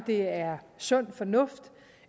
det er sund fornuft